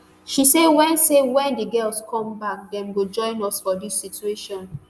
she say wen say wen [di girls] come back [dem] go come join us for dis situation